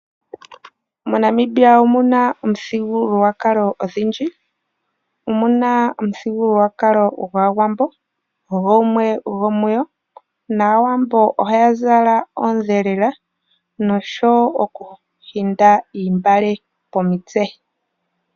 MoNamibia omuna omithigululwakalo odhindji. Omuna omithigululwakalo gwAawambo gumwe gomuyo, nAawambo ohaya zala oondhelela noshowoo okutumba oontungwa komitse.